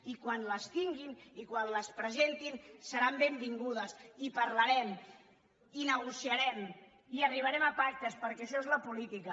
i quan les tinguin i quan les presentin seran benvingudes i parlarem i negociarem i arribarem a pactes perquè això és la política